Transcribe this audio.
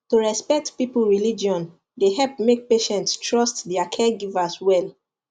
to respect people religion dey help make patients trust their caregivers well